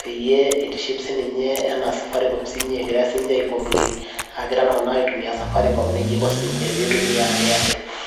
peyie itiship siinche enaa safaricom egira siinche ai complain egira iltung'anak aitumiaa safaricom neija iko siinche peyie itumia airtel.